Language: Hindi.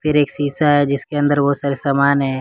एक शीशा है जिसके अंदर बहुत सारे सामान है।